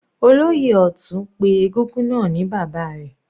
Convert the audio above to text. Olóyè Ọtun pé egúngún náà ni bàbá rẹ̀.